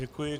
Děkuji.